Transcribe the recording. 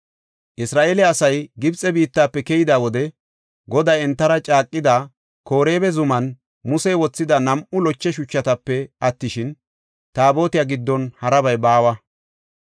Isra7eele asay Gibxe biittafe keyida wode Goday entara caaqida Koreeba zuman Musey wothida nam7u loche shuchatape attishin, Taabotiya giddon harabay baawa.